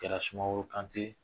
Kɛra Sumaworo Kante.